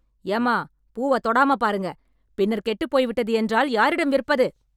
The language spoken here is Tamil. ஏம்மா, பூவ தொடாம பாருங்க. பின்னர் கெட்டுப் போய்விட்டது என்றால் யாரிடம் விற்பது?